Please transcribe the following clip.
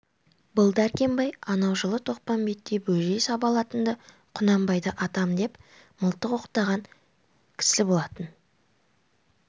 бұл дәркембай анау жылы тоқпамбетте бөжей сабалатында құнанбайды атам деп мылтық оқтаған кісі болатын